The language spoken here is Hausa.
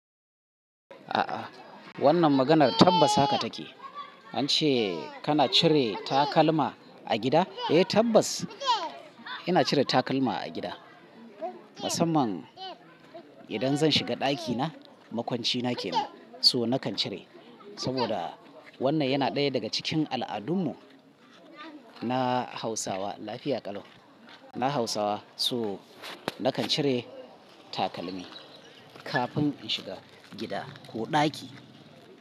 A'a wannan maganar tabbas haka take. An ce kana cire takalma a gida? Eh tabbas ina cire takalma a gida. Musamman idan zan shiga ɗakina, makwancina kenan so nakan cire saboda wannan yana ɗaya daga cikin al'adun mu na Hausawa. Lafiya ƙalau. Na Hausawa so nakan cire takalmi kafin in shiga gida ko ɗaki.